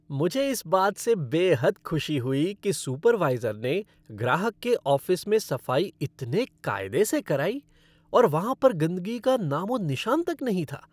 मुझे इस बात से बेहद खुशी हुई कि सुपरवाइज़र ने ग्राहक के ऑफिस में सफाई इतने कायदे से कराई और वहाँ पर गंदगी का नामोनिशान तक नहीं था।